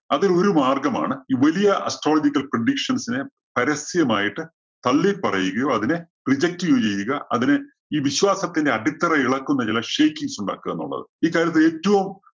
അതിൽ ഒരു മാർഗമാണ് ഈ വലിയ astrological predictions നെ പരസ്യം ആയിട്ട് തള്ളിപ്പറയുകയോ, അതിനെ reject ചെയ്യുകയോ ചെയ്യുക അതിനെ ഈ വിശ്വാസത്തിന്റെ അടിത്തറ ഇളക്കുന്ന ചില shakings ഉണ്ടാക്കുക എന്നുള്ളത് ഈ കാര്യത്തിൽ ഏറ്റവും